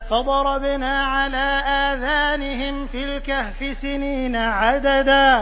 فَضَرَبْنَا عَلَىٰ آذَانِهِمْ فِي الْكَهْفِ سِنِينَ عَدَدًا